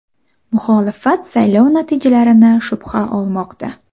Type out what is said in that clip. Muxolifat saylov natijalarini shubha olmoqda.